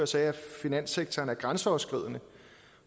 sagde at finanssektoren er grænseoverskridende